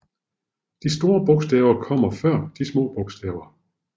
De store bogstaver kommer før de små bogstaver